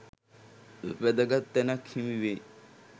වැදගත් තැනක් හිමි වෙයි.